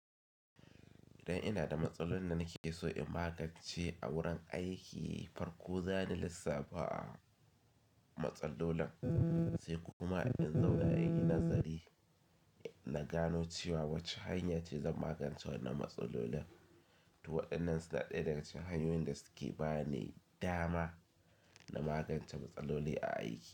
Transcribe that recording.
Idan ina da matsalolin da nake so in magance a wurin aiki, farko zan lissafa a matsallolin, sai kuma in zauna a yi nazari na gano cewa wacce hanya ce zan magancewa na matsalolin. To waɗannan suna ɗaya daga cikin hanyoyin da suke ba ni dama na magance matsaloli a aiki.